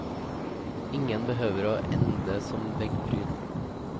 Ingen behøver å ende som veggpryd.